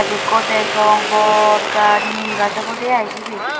gaaj ekko degong bor gaaj neem gaaj obodei sibey.